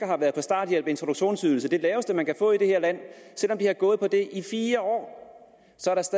har været på starthjælp og introduktionsydelse det laveste man kan få i det her land i fire år